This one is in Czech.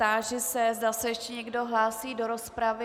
Táži se, zda se ještě někdo hlásí do rozpravy.